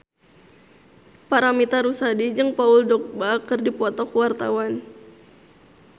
Paramitha Rusady jeung Paul Dogba keur dipoto ku wartawan